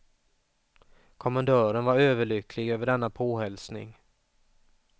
Kommendören var överlycklig över denna påhälsning.